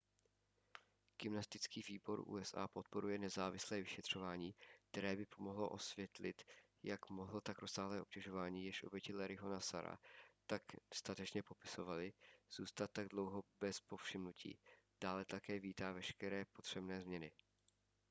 gymnastický výbor usa podporuje nezávislé vyšetřování které by pomohlo osvětlit jak mohlo tak rozsáhlé obtěžování jež oběti larryho nassara tak statečně popisovaly zůstat tak dlouhou dobu bez povšimnutí dále také vítá veškeré potřebné změny